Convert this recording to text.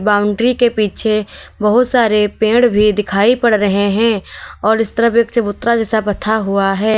Boundary के पीछे बहुत सारे पेड़ भी दिखाई पड़ रहे हैं और इस तरफ एक चबूतरा जैसा पथा हुआ है।